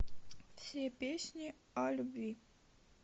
все песни о любви